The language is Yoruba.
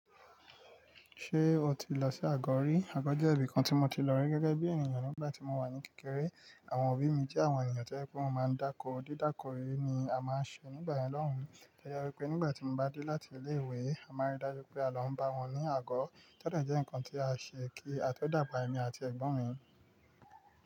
Ṣé o ti lọ sí àgọ̀ rí? Àgọ̀ jẹ́ ibìkan tí mo ti lọ rí gẹ́gẹ́ bí ènìyàn nígbà tí mo wà ní kékeré. Àwọn òbí mi jẹ́ àwọn ènìyàn tí o ye pe wò máa ń dákó. Dídáko yii ni a máa ń ṣe nígbà ẹn lọ́hùn. To ye wipe nígbà tí mo bá dé láti ilé ìwé, a máa rí dájú pé àlọ́ ń bá wọn ní àgọ̀. Tode jẹ́ nǹkan tí a ṣe kí a tó dàgbà, èmi àti ẹ̀gbọ́n mi.